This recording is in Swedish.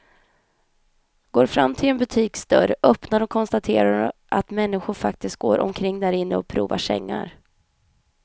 Går fram till en butiksdörr, öppnar och konstaterar att människor faktiskt går omkring därinne och provar sängar.